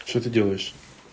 что ты делаешь